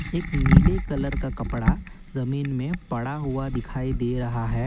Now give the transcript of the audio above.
एक नीले कलर का कपड़ा जमीन में पड़ा हुआ दिखाई दे रहा है।